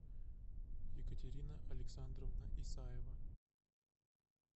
екатерина александровна исаева